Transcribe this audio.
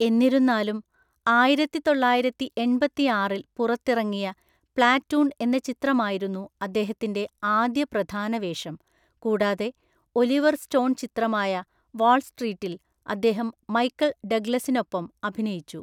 എന്നിരുന്നാലും, ആയിരത്തിതൊള്ളായിരത്തിഎണ്‍പത്തിയാറില്‍ പുറത്തിറങ്ങിയ പ്ലാറ്റൂൺ എന്ന ചിത്രമായിരുന്നു അദ്ദേഹത്തിന്‍റെ ആദ്യ പ്രധാന വേഷം, കൂടാതെ ഒലിവർ സ്റ്റോൺ ചിത്രമായ വാൾസ്ട്രീറ്റിൽ അദ്ദേഹം മൈക്കൽ ഡഗ്ലസിനൊപ്പം അഭിനയിച്ചു.